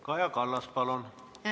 Kaja Kallas, palun!